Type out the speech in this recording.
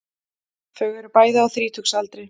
Þau eru bæði á þrítugsaldri